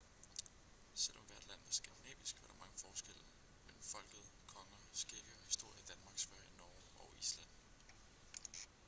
selv om hvert land var skandinavisk var der mange forskelle mellem folket konger skikke og historie i danmark sverige norge og island